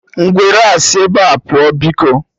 Ngwere a, sị ebea pụọ biko!